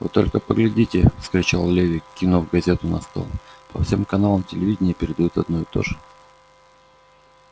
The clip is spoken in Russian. вы только поглядите вскричал леви кинув газету на стол по всем каналам телевидения передают одно и то же